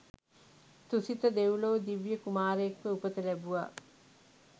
තුසිත දෙව්ලොව දිව්‍ය කුමාරයෙක්ව උපත ලැබුවා.